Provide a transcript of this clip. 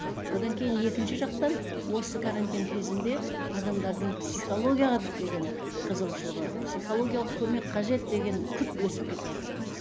одан кейін екінші жақтан осы карантин кезінде адамдардың психологияға деген қызығушылығы психологиялық көмек қажет деген күрт өсіп кетіватыр